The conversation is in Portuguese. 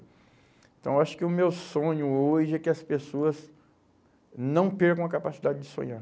Então, acho que o meu sonho hoje é que as pessoas não percam a capacidade de sonhar.